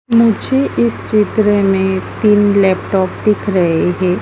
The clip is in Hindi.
मुझे इस चित्र में तीन लैपटॉप दिख रहे है।